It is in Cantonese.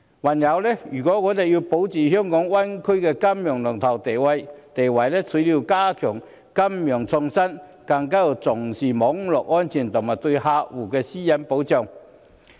還有，如果我們要保住香港在大灣區內的金融龍頭地位，除了要加強金融創新，更要重視網絡安全及對客戶私隱的保障。